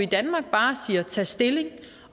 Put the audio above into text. bare tag stilling